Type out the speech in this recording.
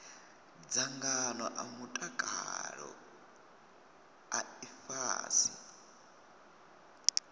dzangano a mutakalo a ifhasi